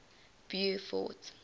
beaufort